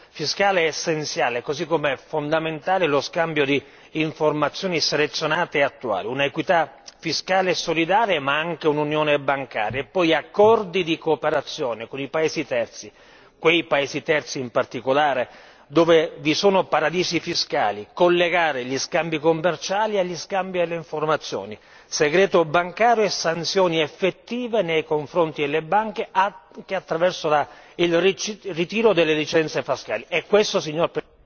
Armonizzare la disciplina fiscale è essenziale così come è fondamentale lo scambio di informazioni selezionate e attuali, un'equità fiscale e solidale, ma anche un'unione bancaria e poi accordi di cooperazione con i paesi terzi quei paesi terzi in particolare dove vi sono paradisi fiscali collegare gli scambi commerciali agli scambi all'informazione, segreto bancario e sanzioni effettive nei confronti delle banche anche attraverso il ritiro delle licenze